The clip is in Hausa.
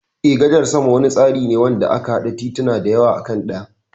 Eh, gadar sama wani tsari ne wanda ake hada tituna daya akan daya.